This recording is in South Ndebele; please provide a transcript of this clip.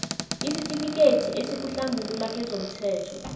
isitifikethi esikuhlambulula kezomthelo